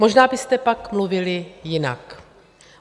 Možná byste pak mluvili jinak.